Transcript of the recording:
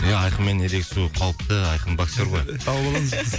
ия айқынмен ерегесу қауіпті айқын боксер ғой тауып аламыз біз